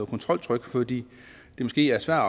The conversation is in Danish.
kontroltrykket fordi det måske er svært